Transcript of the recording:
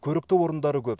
көрікті орындары көп